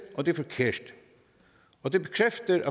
og det er forkert og det bekræfter